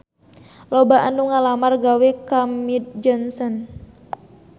Loba anu ngalamar gawe ka Mead Johnson